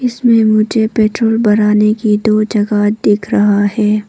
इसमें मुझे पेट्रोल भराने की दो जगह दिख रहा है।